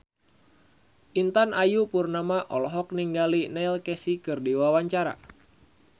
Intan Ayu Purnama olohok ningali Neil Casey keur diwawancara